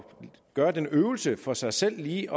gøre den øvelse for sig selv lige